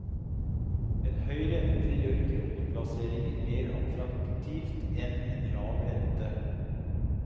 En høy rente gjør kroneplasseringer mer attraktivt enn en lav rente.